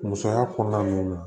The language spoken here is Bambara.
Musoya kɔnɔna nunnu na